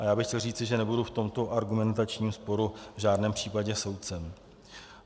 A já bych chtěl říci, že nebudu v tomto argumentačním sporu v žádném případě soudcem.